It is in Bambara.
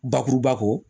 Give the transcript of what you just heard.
Bakuruba kɔ